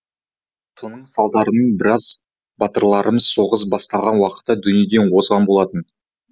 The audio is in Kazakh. соның салдарынан біраз батырларымыз соғыс басталған уақытта дүниеден озған болатын